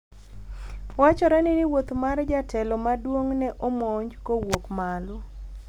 wachore ni wuoth mar jatelo maduong' ne omonj kowuok malo